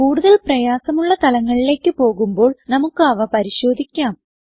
കൂടുതൽ പ്രയാസമുള്ള തലങ്ങളിലേക്ക് പോകുമ്പോൾ നമുക്ക് അവ പരിശോധിക്കാം